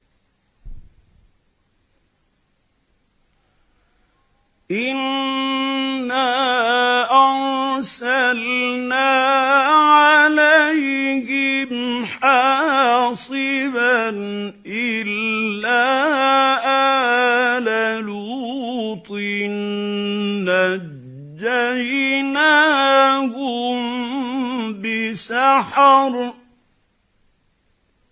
إِنَّا أَرْسَلْنَا عَلَيْهِمْ حَاصِبًا إِلَّا آلَ لُوطٍ ۖ نَّجَّيْنَاهُم بِسَحَرٍ